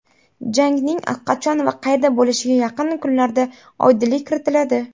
Jangning qachon va qayerda bo‘lishiga yaqin kunlarda oydinlik kiritiladi.